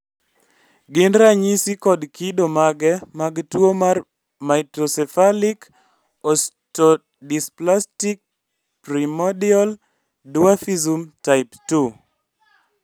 gin ranyisi kod kido mage mag tuwo mar Microcephalic osteodysplastic primordial dwarfism type 2?